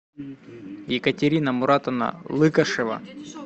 екатерина муратовна лыкашева